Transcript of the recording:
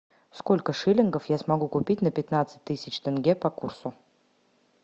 сколько шиллингов я смогу купить на пятнадцать тысяч тенге по курсу